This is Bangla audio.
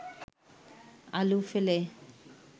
আলু ফেলে